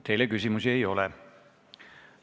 Teile küsimusi ei ole.